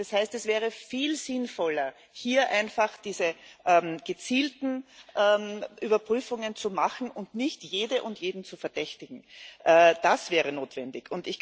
Das heißt Es wäre viel sinnvoller, hier einfach diese gezielten Überprüfungen zu machen, und nicht jede und jeden zu verdächtigen das wäre notwendig.